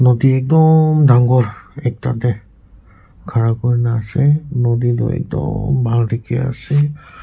nodi ekdummm dangor ekta deh khara kurina asey nodi du ekdummm bhal dikhi asey.